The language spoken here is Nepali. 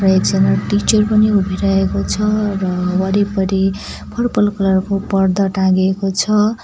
र एकजना टिचर पनि उभिरहेको छ र वरिपरि पर्पल कलर को पर्दा टाङ्गेको छ।